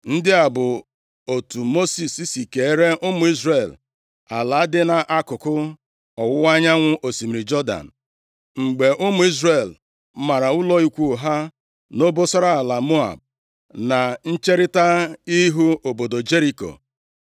Ndị a bụ otu Mosis si keere ụmụ Izrel ala dị nʼakụkụ ọwụwa anyanwụ osimiri Jọdan, mgbe ụmụ Izrel mara ụlọ ikwu ha nʼobosara ala Moab, na ncherita ihu obodo Jeriko.